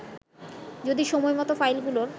যদি সময়মত ফাইলগুলোর